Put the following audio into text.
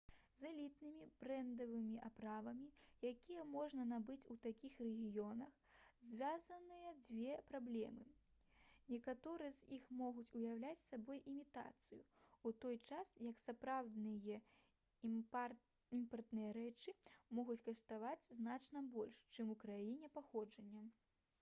з элітнымі брэндавымі аправамі якія можна набыць у такіх рэгіёнах звязаныя дзве праблемы некаторыя з іх могуць уяўляць сабой імітацыю у той час як сапраўдныя імпартныя рэчы могуць каштаваць значна больш чым у краіне паходжання